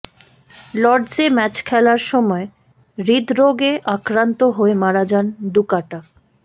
লর্ডসে match খেলার সময় হৃদরোগে আক্রান্ত হয়ে মারা যান ডুকাট